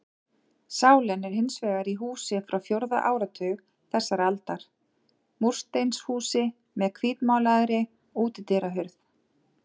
Sálin er hins vegar í húsi frá fjórða áratug þessarar aldar, múrsteinshúsi með hvítmálaðri útidyrahurð.